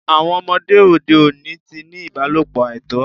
Àwọn ọmọdé òde oni ti ni ìbálọ̀pọ̀ àìtọ́